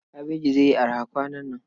Kabaji zai yi araha kwanan nan.